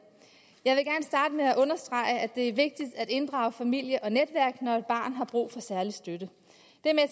jeg vil gerne med at understrege at det er vigtigt at inddrage familie og netværk når et barn har brug for særlig støtte det